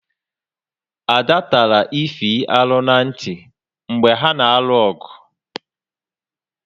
Ada tara Ify arụ na nti mgbe ha na arụ ogu